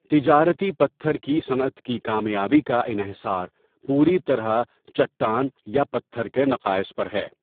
تجارتی پتھر کی صنعت کی کامیابی کا انحصار پوری طرح چٹان یا پتھر کے نقائص پر ہے.